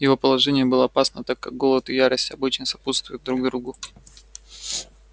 его положение было опасно так как голод и ярость обычно сопутствуют друг другу